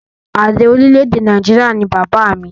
Ààrẹ orílẹ̀-èdè Nàìjíríà ni bàbá mi.